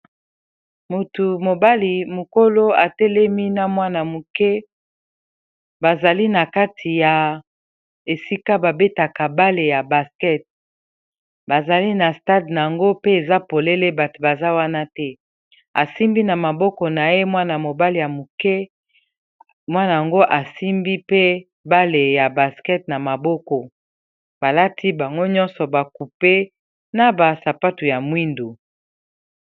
Mutu mobali mukolo a telemi na mwana muke ba zali na kati ya esika ba betaka balle ya basket . Ba zali na stade yango pe eza polele batu baza wana te, a simbi na maboko na ye mwana mobali ya muke, mwana yango a simbi pe balle ya basket . Na maboko balati bango nyonso ba coupe na ba sapatu ya moyindo .